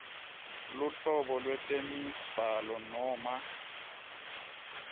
luhlobo lwetemibhalo noma